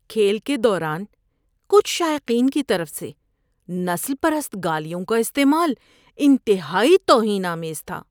کھیل کے دوران کچھ شائقین کی طرف سے نسل پرست گالیوں کا استعمال انتہائی توہین آمیز تھا۔